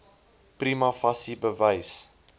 prima facie bewys